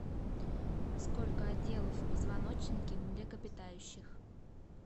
сколько отделов в позвоночнике млекопитающих